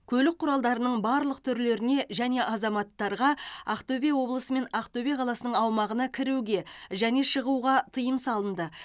көлік құралдарының барлық түрлеріне және азаматтарға ақтөбе облысы мен ақтөбе қаласының аумағына кіруге және шығуға тыйым салынды